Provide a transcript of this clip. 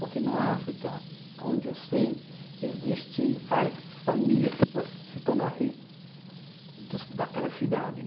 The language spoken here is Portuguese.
Porque na África, aonde eu sei, existe várias família que possa se tornar rei dos, daquela cidade.